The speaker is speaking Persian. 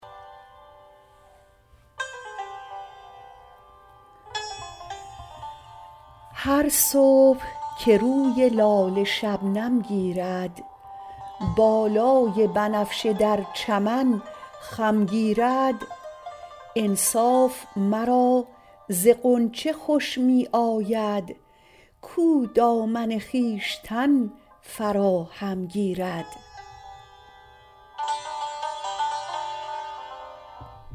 هر صبح که روی لاله شبنم گیرد بالای بنفشه در چمن خم گیرد انصاف مرا ز غنچه خوش می آید کاو دامن خویشتن فراهم گیرد